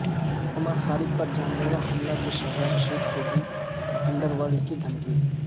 عمر خالد پر جان لیوا حملے کے شہلا رشید کو بھی انڈر ورلڈ کی دھمکی